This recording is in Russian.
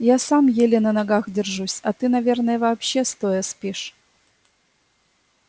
я сам еле на ногах держусь а ты наверное вообще стоя спишь